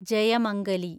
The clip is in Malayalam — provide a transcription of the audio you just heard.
ജയമംഗലി